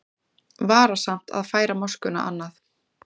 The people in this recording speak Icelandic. Varasamt að færa moskuna annað